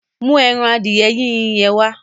Mú ẹran adìẹ Yínyin yẹn wá.